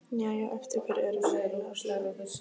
Jæja, eftir hverju erum við eiginlega að bíða?